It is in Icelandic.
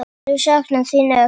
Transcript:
Þau sakna þín öll.